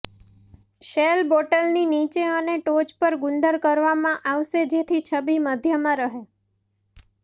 shell બોટલની નીચે અને ટોચ પર ગુંદર કરવામાં આવશે જેથી છબી મધ્યમાં રહે